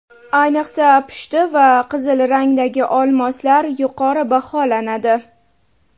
Ayniqsa pushti va qizil rangdagi olmoslar yuqori baholanadi.